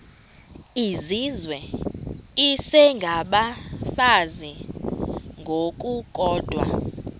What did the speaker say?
izizwe isengabafazi ngokukodwa